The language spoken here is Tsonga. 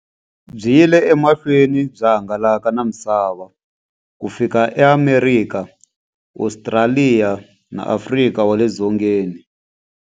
Byi yile emahlweni byi hangalaka na misava ku fika eAmerika, Ostraliya na Afrika wale dzongeni.